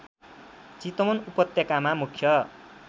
चितवन उपत्यकामा मुख्य